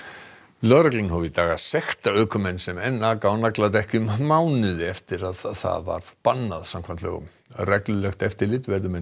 lögreglan hóf í dag að sekta ökumenn sem enn aka á nagladekkjum mánuði eftir að það varð bannað samkvæmt lögum reglulegt eftirlit verður með